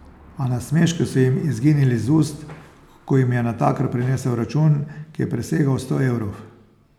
A nasmeški so jim izginili z ust, ko jim je natakar prinesel račun, ki je presegal sto evrov.